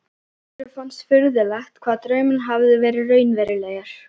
Össuri fannst furðulegt hvað draumurinn hafði verið raunverulegur.